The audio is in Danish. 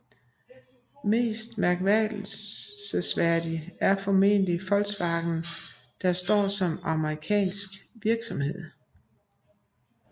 Mest bemærkelsesværdig er formentlig Volkswagen der står som amerikansk virksomhed